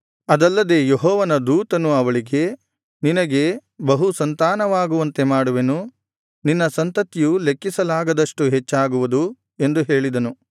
ಅದಲ್ಲದೆ ಯೆಹೋವನ ದೂತನು ಅವಳಿಗೆ ನಿನಗೆ ಬಹುಸಂತಾನವಾಗುವಂತೆ ಮಾಡುವೆನು ನಿನ್ನ ಸಂತತಿಯು ಲೆಕ್ಕಿಸಲಾಗದಷ್ಟು ಹೆಚ್ಚಾಗುವುದು ಎಂದು ಹೇಳಿದನು